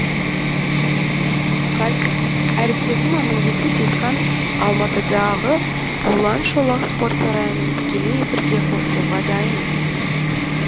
қазір әріптесім амангелді сейітхан алматыдағы булуан шолақ спорт сарайының тікелей эфирге қосылуға дайын